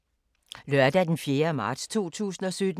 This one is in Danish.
Lørdag d. 4. marts 2017